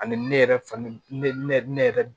Ani ne yɛrɛ fa ne yɛrɛ